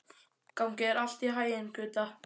Gangi þér allt í haginn, Gudda.